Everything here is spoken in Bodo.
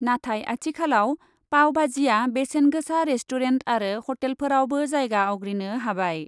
नाथाय आथिखालाव पावबाजिआ बेसेन गोसा रेस्टुरेन्ट आरो हटेलफोरावबो जायगा आवग्रिनो हाबाय।